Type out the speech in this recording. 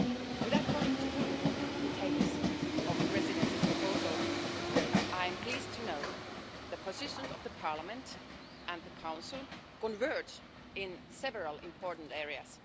Without going into full details of the Presidency's proposal, I am pleased to note that the positions of Parliament and the Council converge in several important areas.